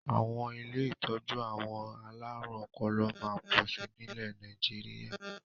Àwọn ilé ìtọ́jú àwọn alárùn ọpọlọ máa pọ̀ sí nilẹ Nàìjíríà